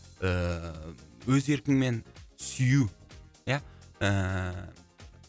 ііі өз еркіңмен сүю ия ііі